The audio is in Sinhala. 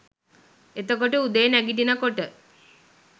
එතකොට උදේ නැගිටිනකොට